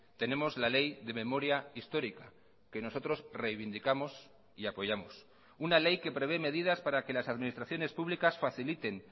tenemos la ley de memoria histórica que nosotros reivindicamos y apoyamos una ley que prevé medidas para que las administraciones públicas faciliten